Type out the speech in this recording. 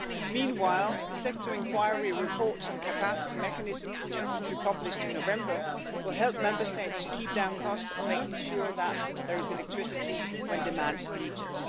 Meanwhile the sector inquiry report on capacity mechanism, which we published in November, will help Member States to keep down costs on making sure that there is electricity when demand needs